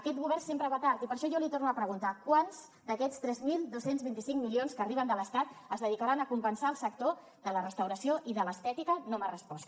aquest govern sempre va tard i per això jo li torno a preguntar quants d’aquests tres mil dos cents i vint cinc milions que arriben de l’estat es dedicaran a compensar el sector de la restauració i de l’estètica no m’ha respost